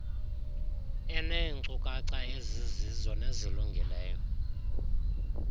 eneenkcukacha ezizizo nezilungileyo